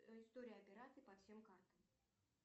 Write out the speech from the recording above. история операций по всем картам